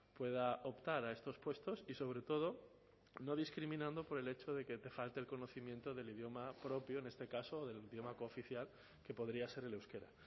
pueda optar a estos puestos y sobre todo no discriminando por el hecho de que falte el conocimiento del idioma propio en este caso del idioma cooficial que podría ser el euskera